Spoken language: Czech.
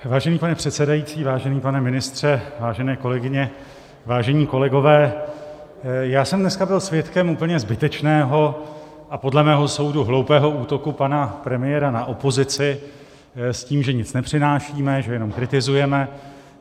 Vážený pane předsedající, vážený pane ministře, vážené kolegyně, vážení kolegové, já jsem dneska byl svědkem úplně zbytečného a podle mého soudu hloupého útoku pana premiéra na opozici s tím, že nic nepřinášíme, že jenom kritizujeme.